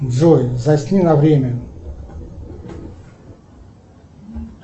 джой засни на время